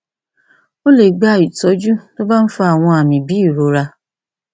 ó lè gba ìtọjú tó bá ń fa àwọn àmì bíi ìrora